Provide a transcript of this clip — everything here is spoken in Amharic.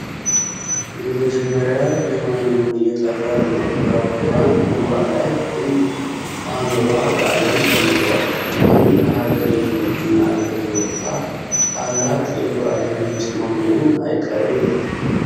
የመጀመሪያ የሆነውን የጠፈር መንኮራክሯን ህዋ ላይ ሕንድ ማኖሯ በአለም ተነግሯል ፤ ይሔም ለሐገሪቱ እና ለሕዝቦቿ ታላቅ የኩራት ምንጭ መሆኑ አይቀሬ ነው።